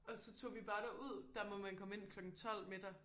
Og så tog vi bare derud der må man komme ind klokken 12 middag